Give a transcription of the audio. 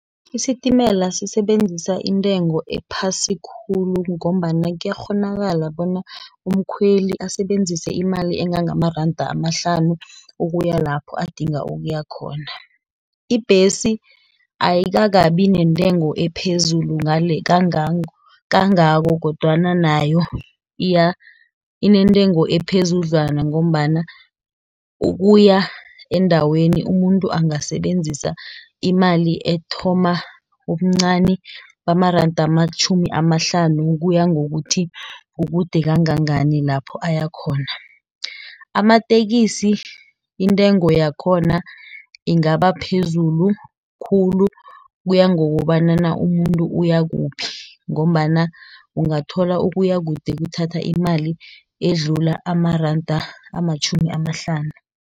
Isitimela sisebenzisa intengo ephasi khulu, ngombana kuyakghonakala bona, umkhweli asebenzise imali engangamaranda amahlanu, ukuya lapho adinga ukuya khona. Ibhesi ayikakabi nentengo ephezulu kangako, kodwana nayo inentengo ephezudlwana ngombana, ukuya endaweni umuntu angasebenzisa imali ethoma ubuncani bamaranda amatjhumi amahlanu, ukuya ngokuthi kukude kangangani lapho ayakhona. Amatekisi intengo yakhona ingaba phezulu khulu, kuya ngokobanana umuntu uya kuphi, ngombana ungathola ukuya kude kuthatha imali edlula amaranda amatjhumi amahlanu.